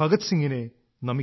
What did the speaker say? ഭഗത് സിംഗിനെ നമിക്കുന്നു